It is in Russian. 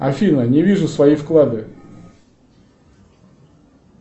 афина не вижу свои вклады